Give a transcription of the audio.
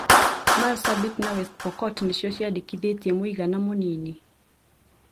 Marsabit na West Pokot nĩcio ciandĩkithirie mũigana mũnini